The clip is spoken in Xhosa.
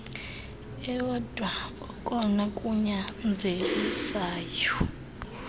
ewodwa okona kunyanzelisayo